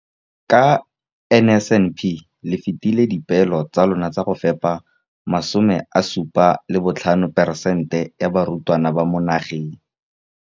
Ka NSNP le fetile dipeelo tsa lona tsa go fepa masome a supa le botlhano a diperesente ya barutwana ba mo nageng.